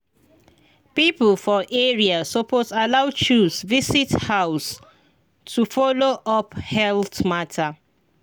people for area suppose allow chws visit house to follow up health matter.